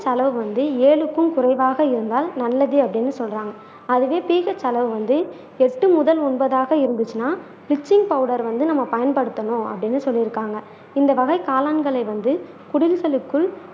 செலவு வந்து ஏழுக்கும் குறைவாக இருந்தால் நல்லது அப்படின்னு சொல்றாங்க அதுவே செலவு வந்து எட்டு முதல் ஒன்பதாக இருந்துச்சுன்னா ஸ்டிச்சிங் பவுடர் வந்து நம்ம பயன்படுத்தணும் அப்படின்னு சொல்லி இருக்காங்க இந்த வகை காளான்களை வந்து குடில்களுக்குள்